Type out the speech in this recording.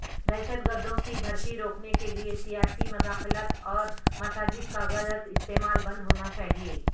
دہشت گردوں کی بھرتی روکنے کیلئے سیاسی مداخلت اور مساجدکا غلط استعمال بند ہونا چاہئے